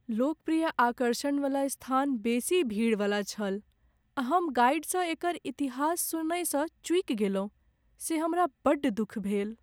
लोकप्रिय आकर्षण वाला स्थान बेसी भीड़वला छल, आ हम गाइडसँ एकर इतिहास सुनयसँ चूकि गेलहुँ से हमरा बड्ड दुःख भेल।